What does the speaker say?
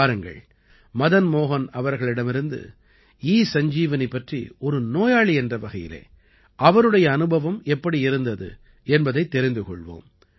வாருங்கள் மதன் மோஹன் அவர்களிடமிருந்து ஈ சஞ்ஜீவனி பற்றி ஒரு நோயாளி என்ற வகையிலே அவருடைய அனுபவம் எப்படி இருந்தது என்பதைத் தெரிந்து கொள்வோம்